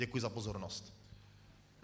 Děkuji za pozornost.